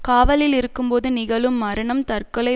காவலில் இருக்கும் போது நிகழும் மரணம் தற்கொலை